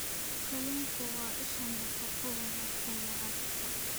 Kalluunku waa isha nafaqo wanaagsan ee carruurta.